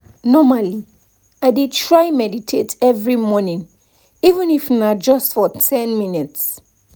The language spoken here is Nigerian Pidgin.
normally i dey try meditate every morning even if na just for ten minutes